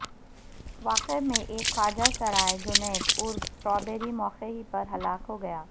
واقعے میں ایک خواجہ سراء جنید عرف سٹابری موقع ہی پر ہلاک ہوگیا